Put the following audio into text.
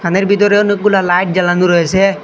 রুমের ভিতরে অনেকগুলা লাইট জ্বালানো রয়েছে।